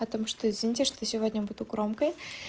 потому что извините что сегодня буду громкой